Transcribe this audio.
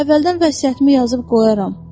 Əvvəldən vəsiyyətimi yazıb qoyaram.